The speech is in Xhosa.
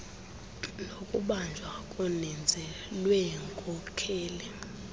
nokubanjwa koninzi lweenkokheli